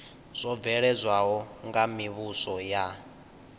zwo bveledzwaho nga mivhuso ya